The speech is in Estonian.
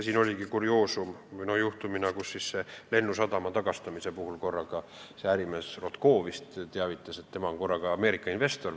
Siin oligi kurioosne lugu, et Lennusadama tagastamise juhtumi puhul korraga ärimees Rotko teatas, et tema on Ameerika investor.